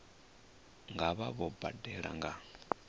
nga vha vho badela nga